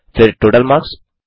फिर total marks